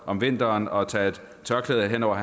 om vinteren og tage et tørklæde hen over